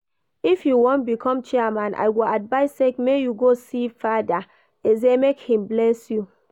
If you wan become chairman, I go advise say make you go see Father Eze make him bless you